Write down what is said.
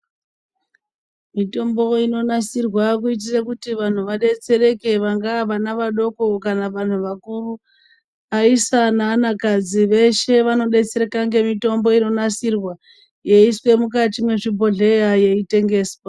Mitombo inonasirwa kuti vantu vadetsereke vanga vana vadoko kama vanhu vakuru. Aisa neanakadzi veshe vanodetsereka nemitombo inonasirwa yeiswe mukati mwezvibhohleya yeitengeswa.